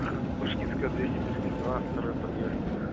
пушкинская двести тридцать два второй подъезд